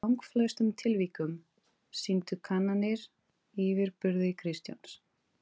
Í langflestum tilvikum sýndu kannanir yfirburði Kristjáns.